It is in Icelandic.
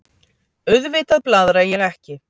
Auðvitað blaðra ég ekki.